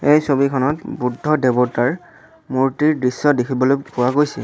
এই ছবিখনত বুদ্ধ দেৱতাৰ মূৰ্তিৰ দৃশ্য দেখিবলৈ পোৱা গৈছে।